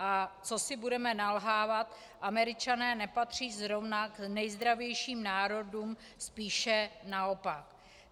A co si budeme nalhávat, Američané nepatří zrovna k nejzdravějším národům, spíše naopak.